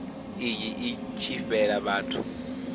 iyi i tshi fhela vhathu